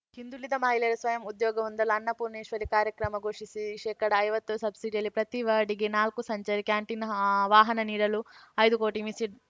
ಹಿಂದುಳಿದ ಮಹಿಳೆಯರು ಸ್ವಯಂ ಉದ್ಯೋಗ ಹೊಂದಲು ಅನ್ನಪೂರ್ಣೇಶ್ವರಿ ಕಾರ್ಯಕ್ರಮ ಘೋಷಿಸಿ ಶೇಕಡ ಐವತ್ತು ಸಬ್ಸಿಡಿಯಲ್ಲಿ ಪ್ರತಿ ವಾರ್ಡ್‌ಗೆ ನಾಲ್ಕು ಸಂಚಾರಿ ಕ್ಯಾಂಟೀನ್‌ ಹಾ ವಾಹನ ನೀಡಲು ಐದು ಕೋಟಿ ಮೀಸ